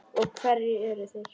Og hverjir eru þeir?